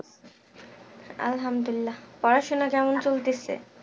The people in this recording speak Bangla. আল্লাহামদুল্লিলাহ পড়াশোনা কেমন চলতেছে?